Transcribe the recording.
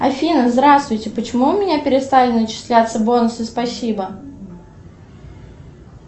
афина здравствуйте почему у меня перестали начисляться бонусы спасибо